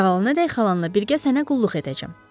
Sağalanadək xalanla birgə sənə qulluq edəcəm.